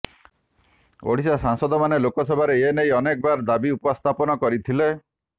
ଓଡ଼ିଶା ସାଂସଦମାନେ ଲୋକସଭାରେ ଏଥିନେଇ ଅନେକ ବାର ଦାବି ଉପସ୍ଥାପନା କରିଥିଲେ